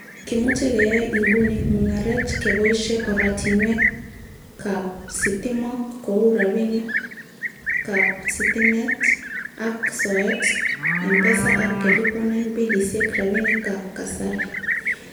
Kimuche keyai inguni mungaret keboishie oratinwek ab sitimok kou rabinik ab sitimet ak soet ,mpesa ak keliponen bilisiek rabinikab kasari.